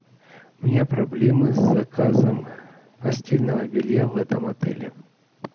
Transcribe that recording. у меня проблемы с заказом постельного белья в этом отеле